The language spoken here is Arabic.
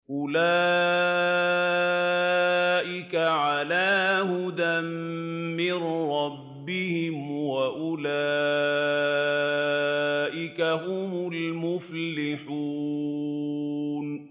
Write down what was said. أُولَٰئِكَ عَلَىٰ هُدًى مِّن رَّبِّهِمْ ۖ وَأُولَٰئِكَ هُمُ الْمُفْلِحُونَ